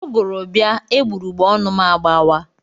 Ụgụrụ bịa, egbugbereọnụ m agbà waa.